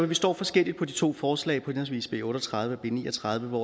vi står forskelligt på de to forslag henholdsvis b otte og tredive og b ni og tredive